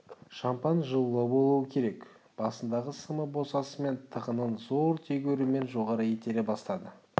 шампан жылылау болуы керек басындағы сымы босасымен тығынын зор тегеурінмен жоғары итере бастады